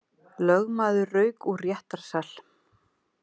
Lögmaður rauk úr réttarsal